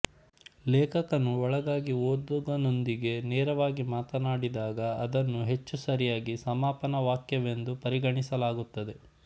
ಲೇಖಕನು ಒಳಗಾಗಿ ಓದುಗನೊಂದಿಗೆ ನೇರವಾಗಿ ಮಾತನಾಡಿದಾಗ ಅದನ್ನು ಹೆಚ್ಚು ಸರಿಯಾಗಿ ಸಮಾಪನ ವಾಕ್ಯವೆಂದು ಪರಿಗಣಿಸಲಾಗುತ್ತದೆ